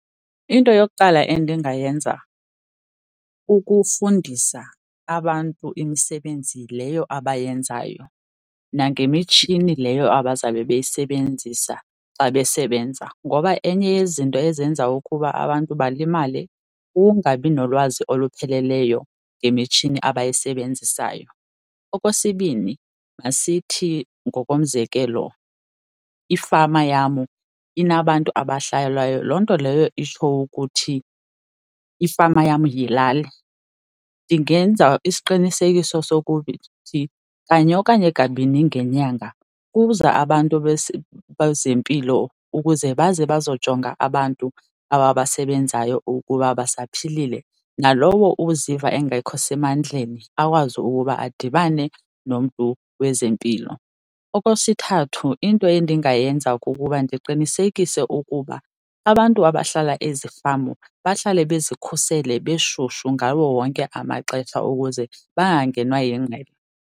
Into yokuqala endingayenza kukufundisa abantu imisebenzi leyo abayenzayo nangemitshini leyo abazawube beyisebenzisa xa besebenza ngoba enye yezinto ezenza ukuba abantu balimale kukungabi nolwazi olupheleleyo ngemitshini abayisebenzisayo. Okwesibini, masithi ngokomzekelo ifama yam inabantu abahlalayo. Loo nto leyo itsho ukuthi ifama yam yilali. Ndingenza isiqinisekiso sokuthi kanye okanye kabini ngenyanga kuza abantu bezempilo ukuze baze bazojonga abantu aba basebenzayo ukuba basaphilile, nalowo uziva engekho semandleni akwazi ukuba adibane nomntu wezempilo. Okwesithathu, into ndingayenza kukuba ndiqinisekise ukuba abantu abahlala ezifama bahlale bazikhusele beshushu ngawo wonke amaxesha ukuze bangangenwa yingqele.